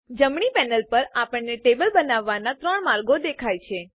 જમણી પેનલ પર આપણને ટેબલ બનાવવાનાં ૩ માર્ગો દેખાય છે